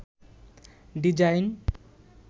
design